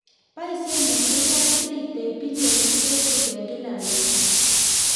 Boisen biik chechang cheitei billionit facebook eng kila betuu